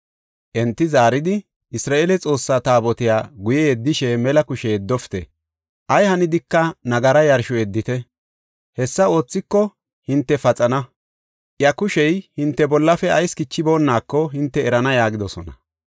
Enti zaaridi, “Isra7eele Xoossaa Taabotiya guye yeddishe mela kushe yeddofite. Ay hanidika nagara yarshora yeddite. Hessa oothiko hinte paxana; iya kushey hinte bollafe ayis kichiboonako hinte erana” yaagidosona.